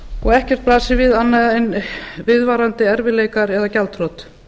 og ekkert blasir við annað en viðvarandi erfiðleikar eða gjaldþrot